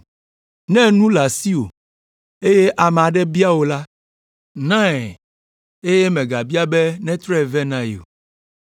Ne nu le asiwò, eye ame aɖe bia wò la, nae eye mègabia be netrɔe vɛ na ye o.